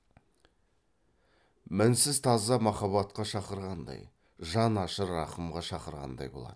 мінсіз таза махаббатқа шақырғандай жан ашыр рақымға шақырғандай болады